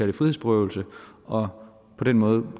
det frihedsberøvelse og på den måde